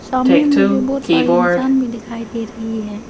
सामने मुझे बहुत सारे इंसान भी दिखाई दे रही है।